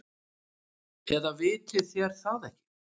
Eða vitið þér það ekki.